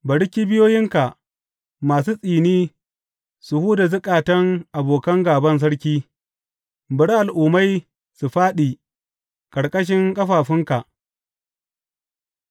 Bari kibiyoyinka masu tsini su huda zukatan abokan gāban sarki; bari al’ummai su fāɗi ƙarƙashin ƙafafunka.